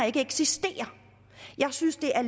ikke eksisterer jeg synes det er